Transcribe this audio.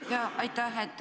Jaa, aitäh!